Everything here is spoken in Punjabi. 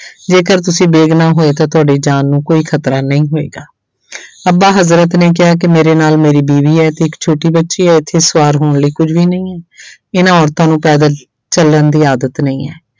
ਜੇਕਰ ਤੁਸੀਂ ਬੇਗਨੁਾਹ ਹੋਏ ਤਾਂ ਤੁਹਾਡੀ ਜਾਨ ਨੂੰ ਕੋਈ ਖ਼ਤਰਾ ਨਹੀਂ ਹੋਏਗਾ ਅੱਬਾ ਹਜ਼ਰਤ ਨੇ ਕਿਹਾ ਕਿ ਮੇਰੇ ਨਾਲ ਮੇਰੀ ਬੀਵੀ ਹੈ ਤੇ ਇੱਕ ਛੋਟੀ ਬੱਚੀ ਹੈ ਇੱਥੇ ਸਵਾਰ ਹੋਣ ਲਈ ਕੁੱਝ ਵੀ ਨਹੀਂ ਹੈ ਇਹਨਾਂ ਔਰਤਾਂ ਨੂੰ ਪੈਦਲ ਚੱਲਣ ਦੀ ਆਦਤ ਨਹੀਂ ਹੈ।